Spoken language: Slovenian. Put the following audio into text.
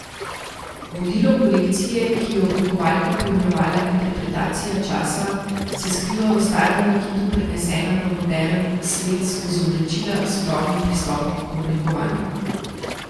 Vodilo kolekcije, ki jo je oblikovalka poimenovala Interpretacija časa, se skriva v starem nakitu prenesenem v moderen svet skozi oblačila s sodobnim pristopom k oblikovanju.